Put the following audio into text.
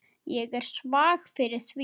Ég er svag fyrir því.